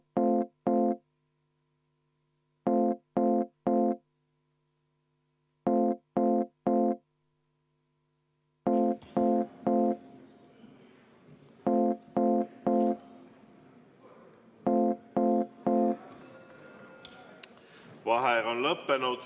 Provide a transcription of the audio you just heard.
V a h e a e g Vaheaeg on lõppenud.